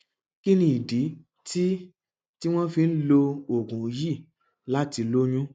kí ni ìdí tí tí wọn fi ń lo oògùn yìí láti lóyún